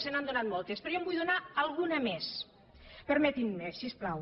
se n’han donat moltes però jo en vull donar alguna més permetinm’ho si us plau